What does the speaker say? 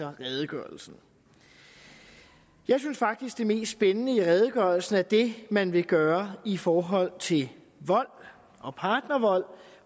redegørelsen jeg synes faktisk det mest spændende i redegørelsen er det man vil gøre i forhold til vold og partnervold